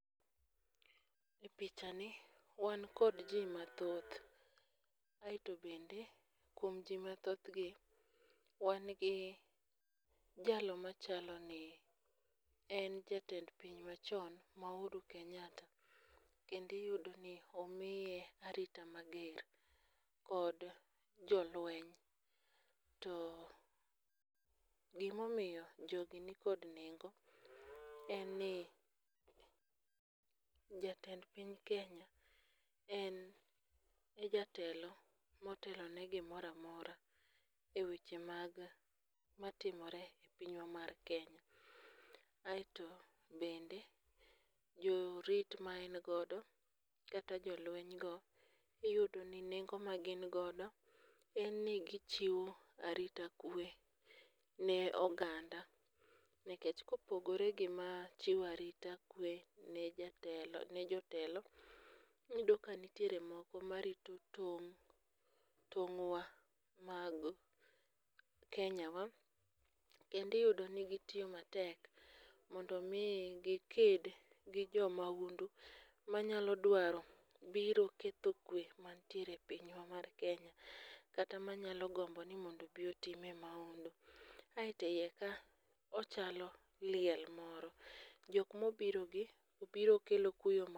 Pichani wan kod ji mathoth kaeto bende, kuom ji mathoth gi, wan gi jalo machalo ni en jatend piny machon ma Uhuru Kenyatta kendo iyudo ni omiye arita mager kod jolueny to gima omiyo jogi nikod nengo en ni jatend piny Kenya en e jatelo motelo ni gimoro amora eweche mag matimore e pinywa mar Kenya, aeto bende jorit ma en godo kata jolueny go iyudo ni nengo magin godo en ni gichiwo arita kwe ne oganda. Nikech kopogore gi machiwa arita kwe ni jotelo moko marito tong' tong'wa mag Kenya wa kendo iyudo ni gitiyo matek mondo mi giked gi jo maundu manyalo dwaro biro ketho kwe e pinywa mar Kenya, kata manyalo gombo ni mondo obi otimie maundu. Kaeto iye ka ochalo liel moro, jok mobirogi, obiro kelo kuyo marg